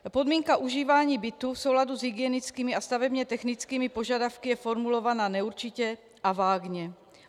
Podmínka užívání bytu v souladu s hygienickými a stavebně technickými požadavky je formulována neurčitě a vágně.